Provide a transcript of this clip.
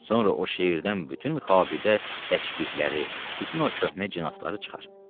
Sonra o şəhərdən bütün xabidə təşbihləri, bütün o köhnə cinasları çıxar.